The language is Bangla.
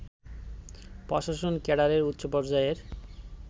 প্রশাসন ক্যাডারের উচ্চ পর্যায়ের